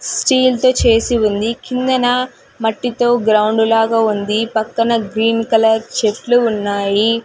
స్టీల్తో చేసి ఉంది కిందన మట్టితో గ్రౌండ్ లాగా ఉంది పక్కన గ్రీన్ కలర్ చెట్లు ఉన్నాయి.